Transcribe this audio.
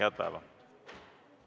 Head päeva!